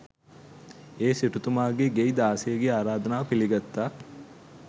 ඒ සිටුතුමාගේ ගෙයි දාසියගෙ ආරාධනාව පිළිගත්තා.